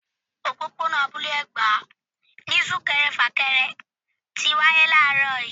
Òpópónà Abúlé Ẹ̀gbá ni sunkẹrẹ fakẹrẹ tí wáyé làárọ̀ yii